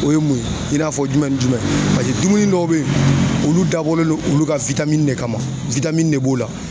O ye mun ye i n'a fɔ jumɛn ni jumɛn paseke dumuni dɔw bɛ ye olu dabɔlen lo olu ka de kama ne b'o la.